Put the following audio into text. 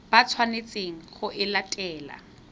ba tshwanetseng go e latela